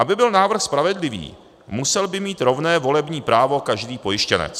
Aby byl návrh spravedlivý, musel by mít rovné volební právo každý pojištěnec.